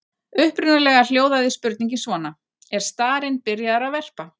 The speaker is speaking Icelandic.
Upprunalega hljóðaði spurningin svona: Er starinn byrjaður að verpa?